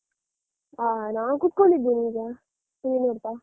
ಹ ನಾನ್ ಕುತ್ಕೊಂಡಿದೆನೇ ಈಗ. TV ನೋಡ್ತಾ.